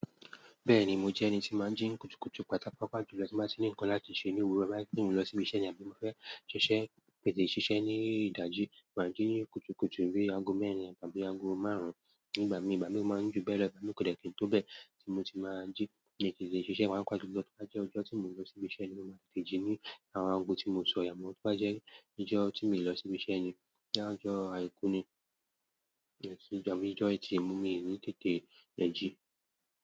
Bẹ́ẹ̀ni, mo jẹ́ ẹni tí máa ń jí kùtùkùtù pàtàkò pàjùlọ tí máa ti ní nǹkan láti ṣe ní òwúrọ̀ máa ń pè mí lọ síbi iṣẹ́ ni àbí mo fẹ́ ṣiṣẹ́, tètè ṣiṣẹ́ ní ìdájí máa jí ni kùtùkùtù bi aago mẹ́rin àbí aago márùn-ún nígbà mí, ìgbà mí ó máa ń jù bẹ́ẹ̀ igba mii kò dè kí n tó bẹ́ẹ̀ tí mo ti máa jí yẹn kin le ṣiṣẹ́, papa julo tó bá jẹ́ ọjọ́ tí mo lọ síbi iṣẹ́ ni mo máa tètè jí ní àwọn aago tí mo sọ yẹn, amo tó bá jẹ́ ijó tí mo lọ síbi iṣẹ́ ni, boya nijọ́ àìkú ni, ẹ sì jọwọ́ ijó ẹtì, mo mì í ní tètè ń jí.